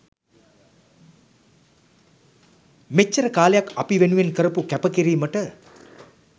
මෙච්චර කාලයක් අපි වෙනුවෙන් කරපු කැප කිරීමට